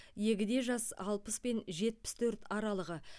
егде жас алпыс пен жетпіс төрт аралығы